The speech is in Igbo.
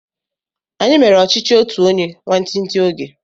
Anyi mere ọchichi otu onye nwantinti oge